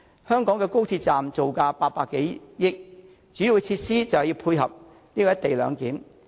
香港高鐵站造價800多億元，主要的設施就是要配合"一地兩檢"。